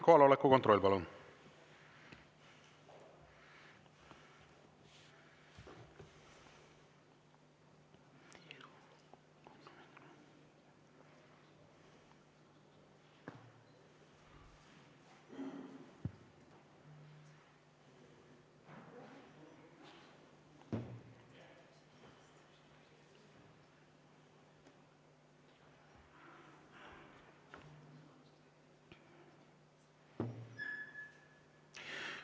Kohaloleku kontroll, palun!